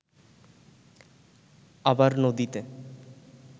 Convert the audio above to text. আবার নদীতে